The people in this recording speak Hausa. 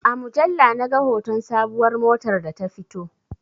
A mujalla na ga hoton sabuwar motar da ta fito